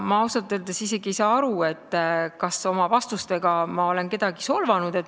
Ma ausalt öeldes ei saa isegi aru, kas ma oma vastustega olen kedagi solvanud.